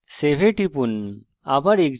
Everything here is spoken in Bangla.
এখন save এ টিপুন আবার execute করি